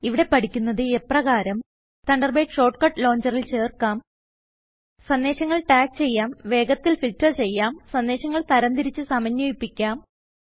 ഇവിടെ പഠിക്കുന്നത് എപ്രകാരം തണ്ടർബേഡ് ഷോർട്ട് കട്ട് ലോഞ്ചറിൽ ചേർക്കാം സന്ദേശങ്ങൾ ടാഗ് ചെയ്യാം വേഗത്തിൽ ഫിൽറ്റർ ചെയ്യാം സന്ദേശങ്ങൾ തരംതിരിച്ച് സമന്വയിപ്പിക്കാം